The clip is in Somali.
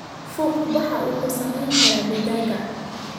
Fuuqbaxa wuxuu saameyn karaa digaagga.